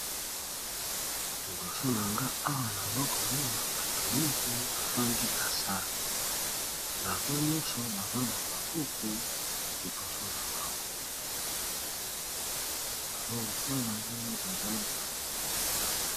Liboso na nga awa nazokomona bato mingi bafandi na sale, bango nyonso baza na babuku liboso na bango bazokosala ndenge baza na examen.